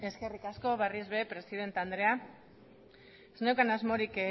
eskerrik asko berriz be presidente andrea ez neukan asmorik